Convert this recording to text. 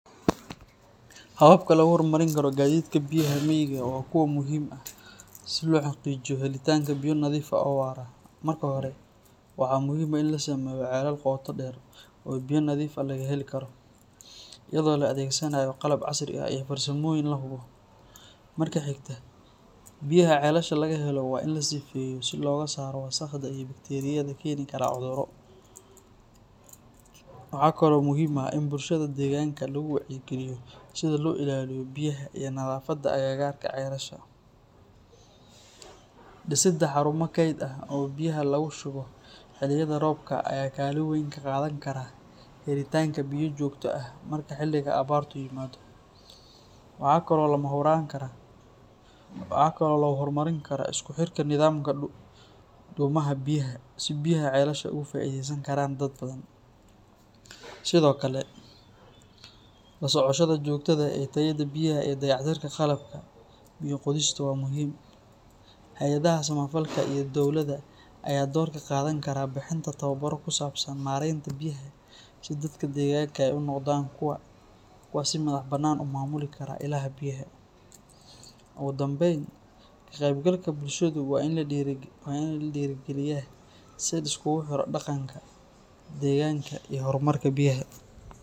Hababka lagu horumarin karo gadidka biyaha miyiga waa kuwo muhiim ah si loo xaqiijiyo helitaanka biyo nadiif ah oo waara. Marka hore, waxaa muhiim ah in la sameeyo ceelal qoto dheer oo biyo nadiif ah laga heli karo, iyadoo la adeegsanaayo qalab casri ah iyo farsamooyin la hubo. Marka xigta, biyaha ceelasha laga helo waa in la sifeeyo si looga saaro wasakhda iyo bakteeriyada keeni karta cudurro. Waxaa kale oo muhiim ah in bulshada deegaanka lagu wacyigeliyo sida loo ilaaliyo biyaha iyo nadaafadda agagaarka ceelasha. Dhisidda xarumo kayd ah oo biyaha lagu shubo xilliyada roobka ayaa kaalin weyn ka qaadan kara helitaanka biyo joogto ah marka xilliga abaartu yimaado. Waxaa kale oo la horumarin karaa isku xirka nidaamka dhuumaha biyaha si biyaha ceelasha uga faa’iideysan karaan dad badan. Sidoo kale, la socoshada joogtada ah ee tayada biyaha iyo dayactirka qalabka biyo-qodista waa muhiim. Hay’adaha samafalka iyo dowladda ayaa door ka qaadan kara bixinta tababarro ku saabsan maaraynta biyaha si dadka deegaanka ay u noqdaan kuwo si madax-bannaan u maamuli kara ilaha biyaha. Ugu dambeyn, ka qaybgalka bulshadu waa in la dhiirrigeliyaa si la isugu xiro dhaqanka, deegaanka, iyo horumarka biyaha.